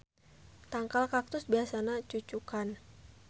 Tangkal kaktus biasana cucukan